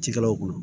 Cikɛlaw kun